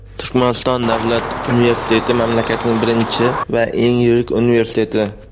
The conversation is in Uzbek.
Turkmaniston davlat universiteti mamlakatning birinchi va eng yirik universiteti.